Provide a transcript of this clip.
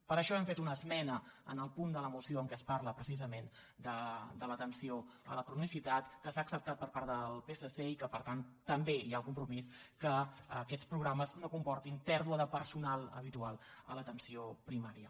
per això hem fet una esmena en el punt de la moció en què es parla precisament de l’atenció a la cronicitat que s’ha acceptat per part del psc i que per tant també hi ha el compromís que aquests programes no comportin pèrdua de personal habitual a l’atenció primària